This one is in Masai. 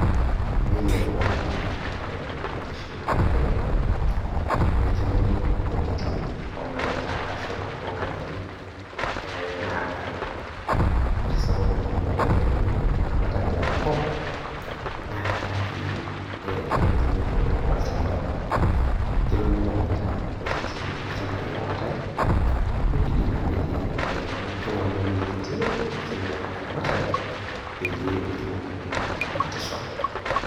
Nelioo aajo eramatare oo nkishu onyare, naikenori intokitin tolaleta araki tonkajijik nadaare. Ore sababu nabo naibelekinyie eena ramatare tenkop naa entumoto olchambai. Kelo neelo ometaa kutitik ilchambai lootae, neibidi naa peyie eiaku keing'oruni ewueji kiiti nepiki naa eramatare, peyie etumokini ataramatisho.